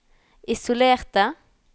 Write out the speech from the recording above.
isolerte